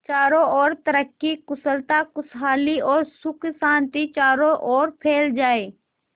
चारों और तरक्की कुशलता खुशहाली और सुख शांति चारों ओर फैल जाए